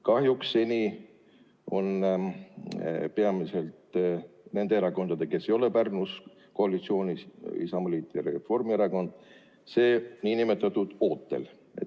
Kahjuks seni on peamiselt nende erakondade tõttu, kes ei ole Pärnus koalitsioonis – Isamaaliit ja Reformierakond –, see n-ö ootel.